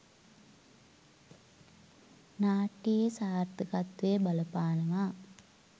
නාට්‍යයේ සාර්ථකත්වය බලපානවා.